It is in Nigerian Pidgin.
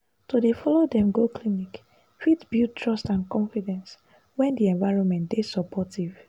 to dey follow dem go clinic fit build trust and confidence when di environment dey supportive.